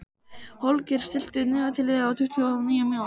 Holger, stilltu niðurteljara á tuttugu og níu mínútur.